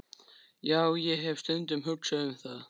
Já, ég hef stundum hugsað um það.